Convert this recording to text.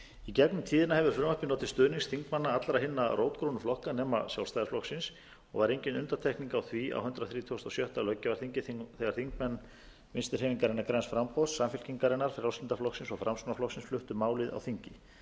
í gegnum tíðna hefur frumvarpið notið stuðnings þingmanna allra hinna rótgrónu flokka nema sjálfstæðisflokksins og var engin undantekning á því á hundrað þrítugasta og sjötta löggjafarþingi þegar þingmenn vinstri hreyfingarinnar græns framboðs samfylkingarinnar frjálslynda flokksins og framsóknarflokksins fluttu málið á þingi